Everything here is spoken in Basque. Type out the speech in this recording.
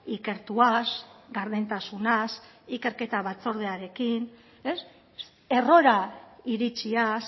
ikertuaz gardentasunaz ikerketa batzordearekin errora iritsiaz